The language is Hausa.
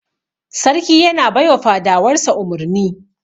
Sarki yana bai wa fadawar sa umurni.